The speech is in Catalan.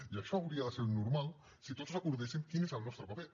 i això hauria de ser el normal si tots recordéssim quin és el nostre paper